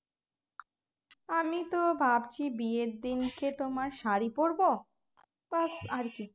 আমি তো ভাবছি বিয়ের দিনকে তোমার শাড়ি পরবো ব্যস্ আরকি